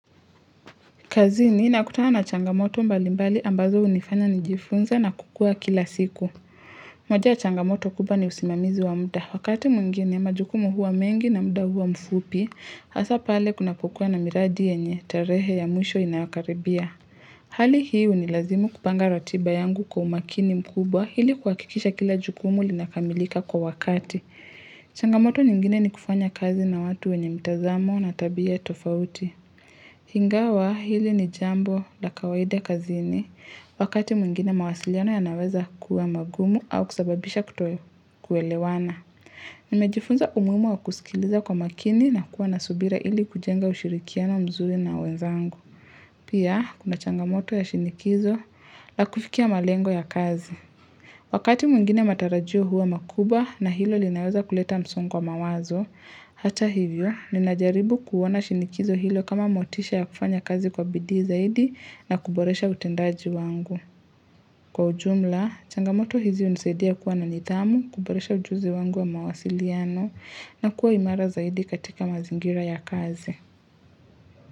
Kazini nakutana na changamoto mbali mbali ambazo hunifanya nijifunze na kukua kila siku. Moja ya changamoto kubwa ni usimamizi wa muda. Wakati mwingine majukumu huwa mengi na muda huwa mfupi, hasa pale kunapokukuwa na miradi yenye tarehe ya mwisho inayokaribia. Hali hii hunilazimu kupanga ratiba yangu kwa umakini mkubwa hili kuhakikisha kila jukumu linakamilika kwa wakati. Changamoto nyingine ni kufanya kazi na watu wenye mtazamo na tabia tofauti. Ingawa hili ni jambo la kawaida kazini wakati mwingine mawasiliano yanaweza kuwa magumu au kusababisha kuto kuelewana. Nimejifunza umuhimu wa kusikiliza kwa makini na kuwa na subira ili kujenga ushirikiano mzuri na wenzangu. Pia kuna changamoto ya shinikizo la kufikia malengo ya kazi. Wakati mwngine matarajio huwa makubwa na hilo linaweza kuleta msongo wa mawazo, Hata hivyo, ninajaribu kuona shinikizo hilo kama motisha ya kufanya kazi kwa bidi zaidi na kuboresha utendaji wangu. Kwa ujumla, changamoto hizi hunisaidia kuwa na nidhamu, kuboresha ujuzi wangu wa mawasiliano na kuwa imara zaidi katika mazingira ya kazi.